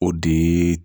O de ye